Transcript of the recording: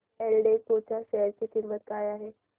एल्डेको च्या शेअर ची किंमत काय आहे